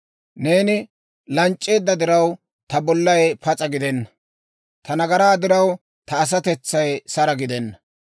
Neeni lanc'c'eedda diraw, ta bollay pas'a gidena; ta nagaraa diraw, ta asatetsay sara gidenna.